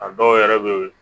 A dɔw yɛrɛ bɛ yen